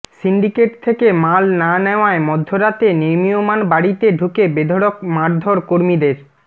syndicate থেকে মাল না নেওয়ায় মধ্যরাতে নির্মিয়মান বাড়িতে ঢুকে বেধড়ক মারধোর কর্মীদের